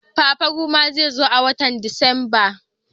Fafaroma zai zo a watan Disamba.